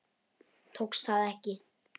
Tókst það ekki.